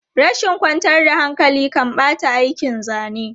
Rashin kwantar da hankali kan ɓata aikin zane.